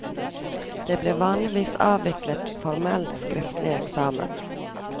Det ble vanligvis avviklet formell skriftlig eksamen.